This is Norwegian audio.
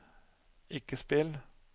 ikke spill